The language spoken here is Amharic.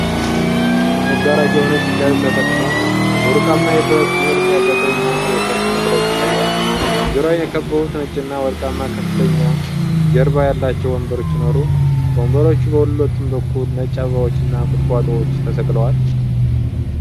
ለመጋረጃው ነጭ ጨርቅ ተጠቅሞ፣ በወርቃማ የብረት ቅርጽ ያጌጠ የሚያምር የሰርግ መድረክ ይታያል። ዙሪያውን የከበቡት ነጭና ወርቃማ ከፍተኛ ጀርባ ያላቸው ወንበሮች ሲኖሩ፤ ከወንበሮቹ በሁለቱም በኩል ነጭ አበባዎችና ቁጥቋጦዎች ተሰቅለዋል።